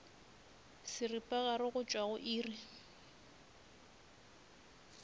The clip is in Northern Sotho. seripagare go tšwa go iri